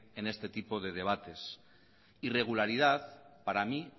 en este tipo de debates irregularidad para mí